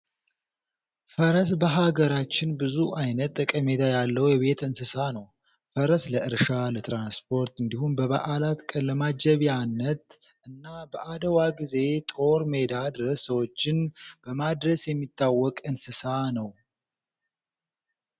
ፈረስ በሀገራችን ብዙ አይነት ጠቀሜታ ያለው የቤት እንስሳ ነው። ፈረስ ለእርሻ፣ ለትራንስፖርት እንዲሁም በበዓላት ቀን ለማጀቢነት እና በአድዋ ጊዜ ጦር ሜዳ ድረስ ሰዎችን በማድረስ የሚተወቅ እንስሳ ነው።